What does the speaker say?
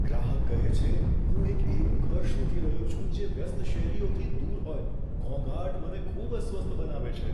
ગ્રાહક કહે છે, "હું એક એવું ઘર શોધી રહ્યો છું જે વ્યસ્ત શેરીઓથી દૂર હોય ઘોંઘાટ મને ખૂબ અસ્વસ્થ બનાવે છે."